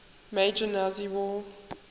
major nazi war